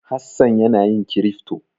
Hassan yana yin kirifto.